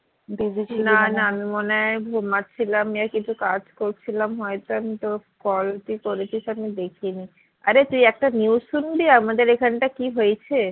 আমি মনে হয় ঘুমাচ্ছিলাম বা কিছু কাজ করছিলাম হয় তো আমি তোর call তুই করেছিস আমি দেখিনি আরে তুই একটা news শুনবি আমাদের এখন তা কি হয়েছে?